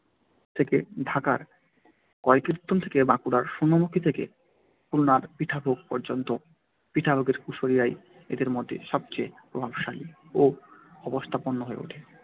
থেকে ঢাকার কয়কীর্তন থেকে বাঁকুড়ার সোনামুখী থেকে খুলনার পিঠাভোগ পর্যন্ত। পিঠাভোগের কুশারীরাই এদের মধ্যে সবচেয়ে প্রভাবশালী ও অবস্থাপন্ন হয়ে ওঠে।